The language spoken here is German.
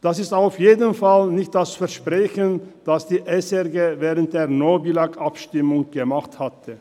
Dies ist auf jeden Fall nicht das Versprechen, welches die SRG während des «No Billag»-Abstimmungskampfs gegeben hat.